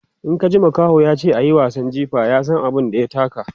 In ka ji makaho yace ayi wasan jifa, ya San abun da ya taka